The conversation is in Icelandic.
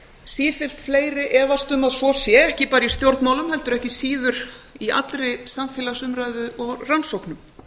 sífellt fleiri efast um að svo sé ekki bara í stjórnmálum heldur ekki síður í allri samfélagsumræðu og rannsóknum